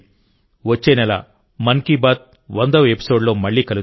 వచ్చే నెలమన్ కీ బాత్ 100వ ఎపిసోడ్లో మళ్ళీ కలుద్దాం